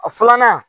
A filanan